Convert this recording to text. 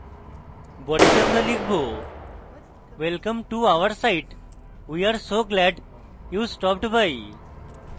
বডিতে আমরা লিখবwelcome to our site! we are so glad you stopped by!